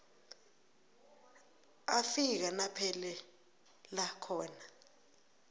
afika naphelela khona